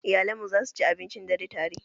Iyalanmu za su ci abincin dare tare